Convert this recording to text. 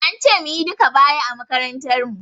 An ce mu yi duka baya a makarantar mu.